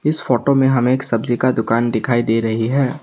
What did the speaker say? इस फोटो में हमें एक सब्जी का दुकान दिखाई दे रही है।